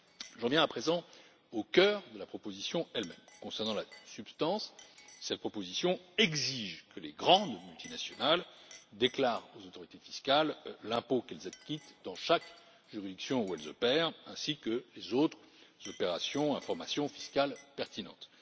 J'en viens à présent au cœur de la proposition elle même. En ce qui concerne la substance, cette proposition exige que les grandes multinationales déclarent aux autorités fiscales l'impôt qu'elles acquittent dans chaque juridiction où elles opèrent ainsi que les autres informations fiscales pertinentes.